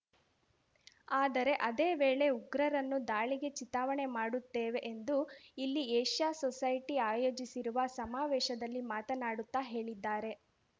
ಆದರೆ ಅದೇ ವೇಳೆ ಉಗ್ರರನ್ನು ದಾಳಿಗೆ ಚಿತಾವಣೆ ಮಾಡುತ್ತೇವೆ ಎಂದು ಇಲ್ಲಿ ಏಷ್ಯಾ ಸೊಸೈಟಿ ಆಯೋಜಿಸಿರುವ ಸಮಾವೇಶದಲ್ಲಿ ಮಾತನಾಡುತ್ತ ಹೇಳಿದ್ದಾರೆ